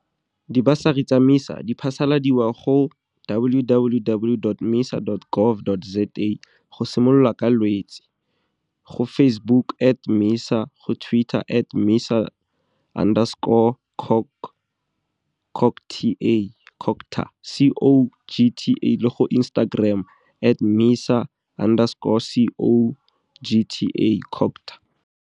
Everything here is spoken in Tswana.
Dibasari tsa MISA di phasaladiwa go www.misa.gov.za go simolola ka Lwetse, go Facebook at MISA, go Twitter at MISA underscore CoG CoG T A CoGTA, C O G T A, le go Instagram at MISA underscore C O G T A, CoGTA.